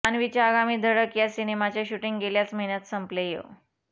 जान्हवीच्या आगामी धडक या सिनेमाचे शूटिंग गेल्याच महिन्यात संपलेय